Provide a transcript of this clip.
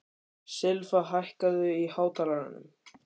Silfa, hækkaðu í hátalaranum.